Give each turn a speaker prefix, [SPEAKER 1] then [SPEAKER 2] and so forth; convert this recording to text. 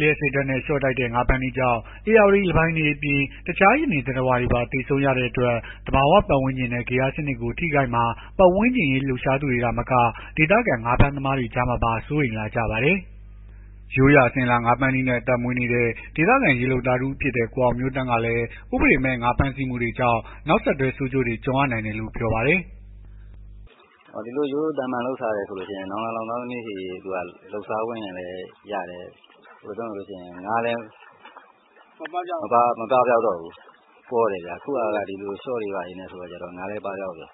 [SPEAKER 1] လျှပ်စစ်ဓာတ်နဲ့ ရှော့တိုက်ငါးဖမ်းတဲ့နည်းကြောင့် ဧရာဝတီလင်းပိုင်တွေအပြင် တခြားရေနေ သတ္တဝါတွေပါ သေဆုံးရတဲ့အတွက် သဘာ၀ ပတ်ဝန်းကျင်နဲ့ ဂေဟစနစ်ကို ထိခိုက်မှာ ပတ်ဝန်းကျင်အရေး လှုပ်ရှားသူတွေ သာမက ဒေသခံ ငါးဖမ်းသမားတွေကြားမှာပါ စိုးရိမ်လာကြပါတယ်။ ရိုးရာအစဉ်အလာ ငါးဖမ်းနည်းနဲ့ အသက်မွေးနေတဲ့ ဒေသခံရေလုပ်သားတဦးဖြစ်တဲ့ ကိုအောင်မျိုးသန့်ကလည်း ဥပဒေမဲ့ ငါးဖမ်းဆီးမှုတွေကြောင့် နောက်ဆက်တွဲ ဆိုးကျိုးတွေ ကြုံရနိုင်တယ်လို့ ပြောပါတယ်။
[SPEAKER 2] “ဒီလိုရိုးရိုးသာမာန်လုပ်စားတယ်ဆိုရင် နောင်လာနောင်သားသမီးထိ လုပ်စားလို့ရတယ်။ ငါးလည်း မပပျောက်တော့ဘူး။ ပေါတယ်ဗျာ။ အခုဟာက ရှော့တွေဘာတွေနဲ့ဆိုတော့ ငါးလည်းပပျောက်တယ်